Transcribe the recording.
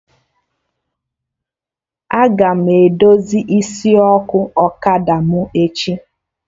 Aga m edozi isi ọkụ ọkada m echi